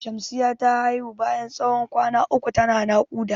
Shamsiya ta haihu bayan tsawon kwana uku ta na naƙuda.